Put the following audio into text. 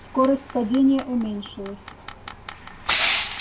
скорость падения уменьшилась